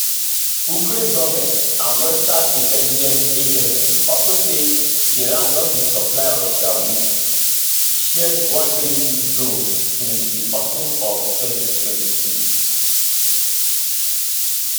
ukraine goment and western intelligence agencies also say iran don dey supply russia wit shahed136 drones since di autumn of 2022